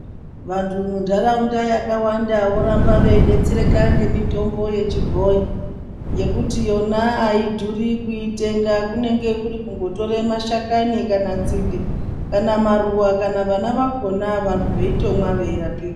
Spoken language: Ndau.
Vantu mundarawunda yakawanda voramba vebetsereka ngemitombo yechibhoyi, yekuti yona ayidhuri kuyitenga. Kunenge kuri kungotore mashakami, dzimbe, maruwa kana vana vakhona vanhu voyitemwa voyirapiwa.